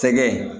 Tɛgɛ